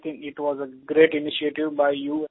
I think it was a great initiative by you